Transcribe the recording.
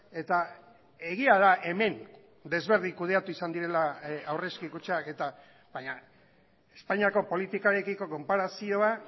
eta egia da hemen desberdin kudeatu izan direla aurrezki kutxak eta baina espainiako politikarekiko konparazioa